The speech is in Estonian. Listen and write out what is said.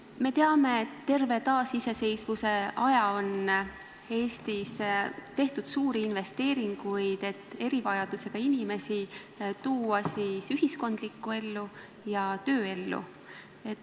Me teame, et terve taasiseseisvuse aja on Eestis tehtud suuri investeeringuid, et erivajadusega inimesi tuua ühiskondlikku ellu ja tööellu.